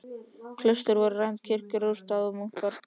Klaustur voru rænd, kirkjur rústaðar og munkar pyndaðir.